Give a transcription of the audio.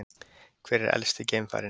Hver er elsti geimfarinn?